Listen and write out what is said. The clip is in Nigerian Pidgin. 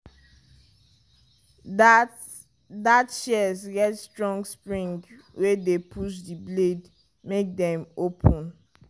that that shears get strong spring wey dey push the blades make dem open.